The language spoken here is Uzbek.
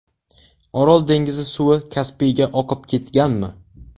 Orol dengizi suvi Kaspiyga oqib ketganmi?.